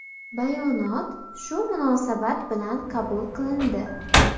Bayonot shu munosabat bilan qabul qilindi.